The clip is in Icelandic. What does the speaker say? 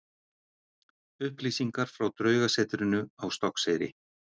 Upplýsingar frá Draugasetrinu á Stokkseyri.